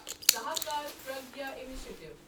Sahakar Pragya initiative